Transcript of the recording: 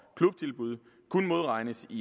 klubtilbud kun modregnes i